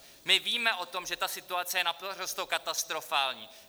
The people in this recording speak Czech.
My víme o tom, že ta situace je naprosto katastrofální.